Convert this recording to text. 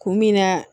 Kun min na